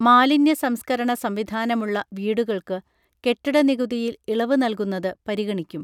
മാലിന്യ സംസ്കരണ സംവിധാനമുള്ള വീടുകൾക്ക് കെട്ടിട നികുതിയിൽ ഇളവ് നൽകുന്നത് പരിഗണിക്കും